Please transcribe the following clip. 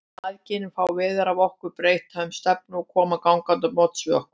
Mæðginin fá veður af okkur, breyta um stefnu og koma gangandi á móts við okkur.